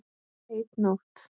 Heit nótt.